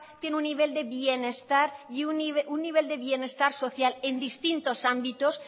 tiene un nivel de bienestar social en distintos ámbitos